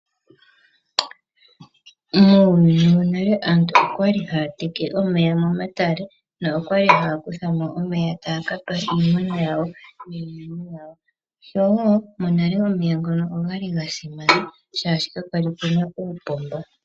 Muuyuni wonale aantu okwali haya teke omeya momatale nokwali haya kutha mo omeya taya kapa iimuna yawo, monale omeya ngono okwali ga simana shashi kapwali puna uupomba.